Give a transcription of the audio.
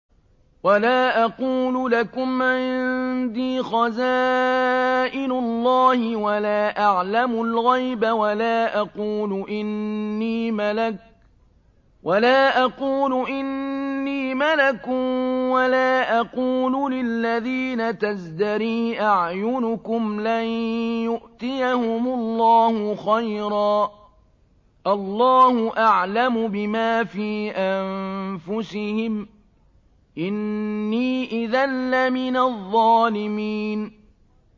وَلَا أَقُولُ لَكُمْ عِندِي خَزَائِنُ اللَّهِ وَلَا أَعْلَمُ الْغَيْبَ وَلَا أَقُولُ إِنِّي مَلَكٌ وَلَا أَقُولُ لِلَّذِينَ تَزْدَرِي أَعْيُنُكُمْ لَن يُؤْتِيَهُمُ اللَّهُ خَيْرًا ۖ اللَّهُ أَعْلَمُ بِمَا فِي أَنفُسِهِمْ ۖ إِنِّي إِذًا لَّمِنَ الظَّالِمِينَ